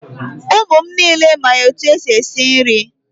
Ụmụ m niile ma etu e si esi nri.